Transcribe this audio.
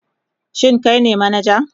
Shin kai ne manaja?